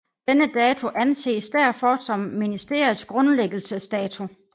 Denne dato anses derfor som ministeriets grundlæggelsesdato